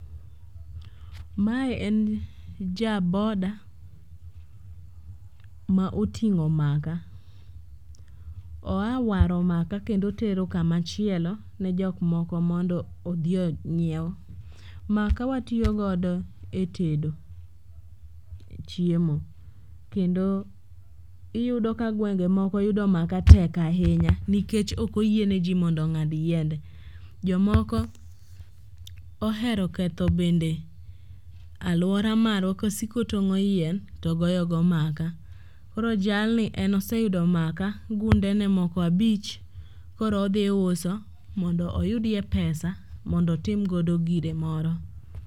Mae en jaboda ma oting'o maka. Oa waro maka kendo otero kamachielo ne jokmoko mondo odhi onyiew. Maka watiyogodo e tedo chiemo kendo iyudo ka gwenge moko yudo maka tek ahinya nikech ok oyieneji mondo ong'ad yiende. Jomoko ohero ketho bende alwora marwa kosiko tong'o go yien to goyogo maka koro jalni en oseyudo maka gundene moko abich koro odhi uso mondo oyudye pesa mondo otimgodo gire moro.